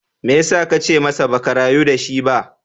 Me ya sa ka ce masa ba ka rayu da shi ba?